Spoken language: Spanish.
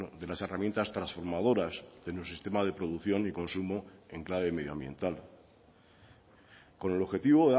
de las herramientas transformadoras en un sistema de producción y consumo en clave medioambiental con el objetivo